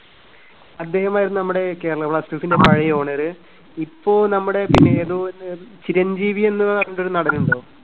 അദ്ദേഹമായിരുന്നു നമ്മടെ കേരള ബ്ലാസ്റ്റേഴ്‌സിന്റെ പഴയ owner. ഇപ്പോ നമ്മുടെ ഏതോ ഒരു ചിരഞ്ജീവി എന്ന് പറഞ്ഞിട്ട് ഒരു നടനുണ്ടോ?